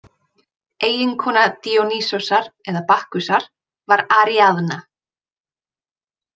Eiginkona Díonýsosar eða Bakkusar var Aríaðna.